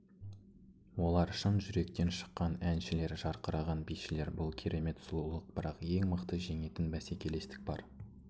олар шын жүректен шыққан әншілер жарқыраған бишілер бұл керемет сұлулық бірақ ең мықты жеңетін бәсекелестік бар